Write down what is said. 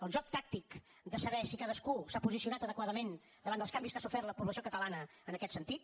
el joc tàctic de saber si cadascú s’ha posicionat adequadament davant dels canvis que ha sofert la població catalana en aquest sentit